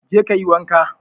Je ka yi wanka!